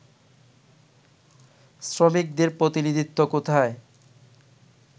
শ্রমিকদের প্রতিনিধিত্ব কোথায়